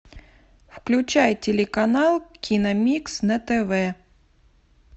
включай телеканал киномикс на тв